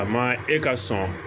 A ma e ka sɔn